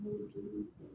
Mɔgɔ jugu